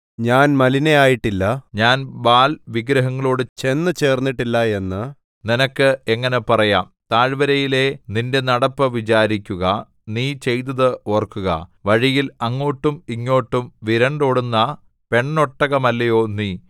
ഞാൻ മലിനയായിട്ടില്ല ഞാൻ ബാല്‍ വിഗ്രഹങ്ങളോടു ചെന്നു ചേർന്നിട്ടില്ല എന്ന് നിനക്ക് എങ്ങനെ പറയാം താഴ്വരയിലെ നിന്റെ നടപ്പ് വിചാരിക്കുക നീ ചെയ്തത് ഓർക്കുക വഴിയിൽ അങ്ങോട്ടും ഇങ്ങോട്ടും വിരണ്ടോടുന്ന പെണ്ണൊട്ടകമല്ലയോ നീ